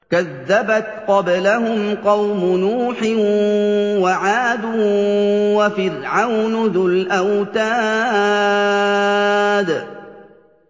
كَذَّبَتْ قَبْلَهُمْ قَوْمُ نُوحٍ وَعَادٌ وَفِرْعَوْنُ ذُو الْأَوْتَادِ